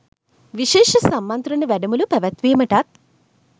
විශේෂ සම්මන්ත්‍රණ වැඩමුළු පැවැත්වීමටත්